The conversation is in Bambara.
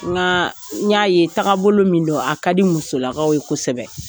Nka n y'a ye taakabolo min don a ka di musolakaw ye kosɛbɛ.